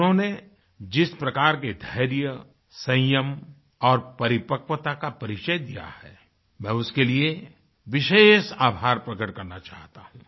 उन्होंने जिस प्रकार के धैर्य संयम और परिपक्वता का परिचय दिया है मैं उसके लिए विशेष आभार प्रकट करना चाहता हूँ